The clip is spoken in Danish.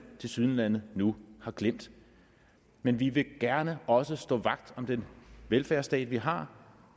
tilsyneladende nu har glemt men vi vil gerne også stå vagt om den velfærdsstat vi har